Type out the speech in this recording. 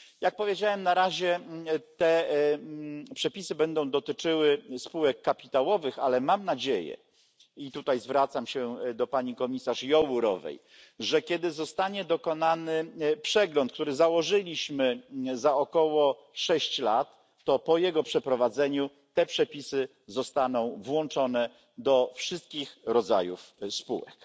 Jak powiedziałem, na razie przepisy będą dotyczyły spółek kapitałowych, ale mam nadzieję i tutaj zwracam się do pani komisarz Jourovej że kiedy zostanie dokonany przegląd, który założyliśmy za około sześć lat, po jego przeprowadzeniu przepisy zostaną rozszerzone na wszystkie rodzaje spółek.